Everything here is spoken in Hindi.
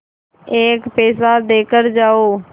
एक पैसा देकर जाओ